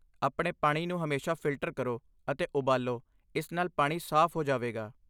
ਆਪਣੇ ਪਾਣੀ ਨੂੰ ਹਮੇਸ਼ਾ ਫਿਲਟਰ ਕਰੋ ਅਤੇ ਉਬਾਲੋ, ਇਸ ਨਾਲ ਪਾਣੀ ਸਾਫ਼ ਹੋ ਜਾਵੇਗਾ।